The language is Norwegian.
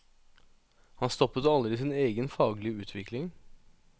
Han stoppet aldri sin egen faglige utvikling.